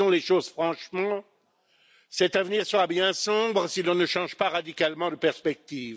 Disons les choses franchement, cet avenir sera bien sombre si l'on ne change pas radicalement de perspectives.